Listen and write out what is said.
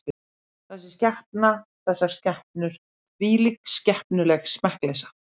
Þessi skepna, þessar skepnur, þvílík skepnuleg smekkleysa.